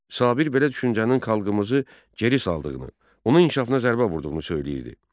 Sabir belə düşüncənin xalqımızı geri saldığını, onun inkişafına zərbə vurduğunu söyləyirdi.